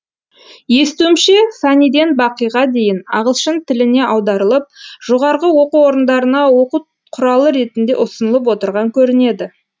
естуімше фәниден бақиға дейін ағылшын тіліне аударылып жоғарғы оқу орындарына оқу құралы ретінде ұсынылып отырған көрінеді